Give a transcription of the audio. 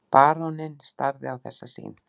Baróninn starði á þessa sýn.